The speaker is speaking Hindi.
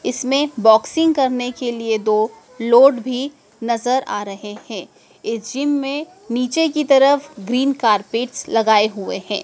इसमें बॉक्सिंग करने के लिए दो लोड भी नजर आ रहे हैं इस जिम में नीचे की तरफ ग्रीन कार्पेटस लगाए हुए हैं।